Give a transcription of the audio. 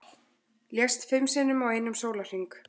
Lést fimm sinnum á einum sólarhring